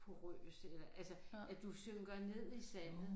Porøs eller altså at du synker ned i sandet